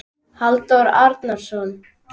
Halldór Arason.